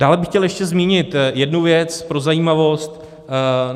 Dále bych chtěl ještě zmínit jednu věc, pro zajímavost.